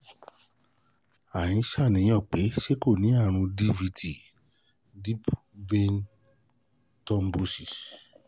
À ń ṣàníyàn pé ó ṣeé ṣe kó ní àrùn DVT deep vein thrombosis